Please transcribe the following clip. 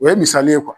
O ye misali ye